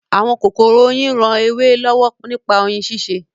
Àwọn kòkòrò oyin ran ewé lọ́wọ́ nípa oyin ṣíṣe